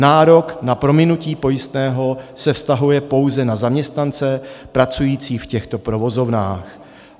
Nárok na prominutí pojistného se vztahuje pouze na zaměstnance pracující v těchto provozovnách.